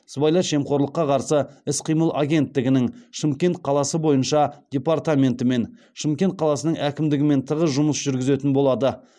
сыбайлас жемқорлыққа қарсы іс қимыл агенттігінің шымкент қаласы бойынша департаментімен шымкент қаласының әкімдігімен тығыз жұмыс жүргізетін болады